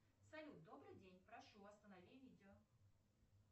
салют добрый день прошу останови видео